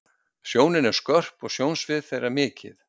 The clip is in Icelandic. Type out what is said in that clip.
sjónin er skörp og sjónsvið þeirra mikið